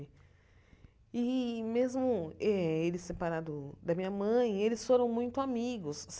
E, mesmo eh ele separado da minha mãe, eles foram muito amigos.